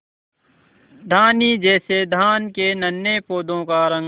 धानी जैसे धान के नन्हे पौधों का रंग